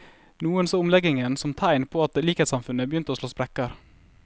Noen så omleggingen som tegn på at likhetssamfunnet begynte å slå sprekker.